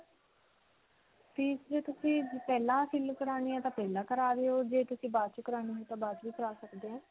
fees ਜੇ ਤੁਸੀਂ ਪਹਿਲਾਂ ਕਰਵਾਉਣੀ ਹੈ ਤਾਂ ਪਹਿਲਾਂ ਕਰਾ ਦਿਓ ਜੇ ਤੁਸੀਂ ਬਾਅਦ 'ਚੋਂ ਕਰਵਾਉਣੀ ਹੈ ਤਾਂ ਬਾਅਦ 'ਚੋਂ ਵੀ ਕਰਾ ਸਕਦੇ ਹੋ.